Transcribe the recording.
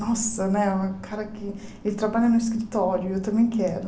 Nossa né, o cara que ele trabalha no escritório, eu também quero.